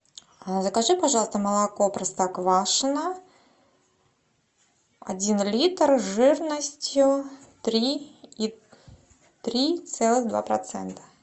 закажи пожалуйста молоко простоквашино один литр жирностью три и три целых два процента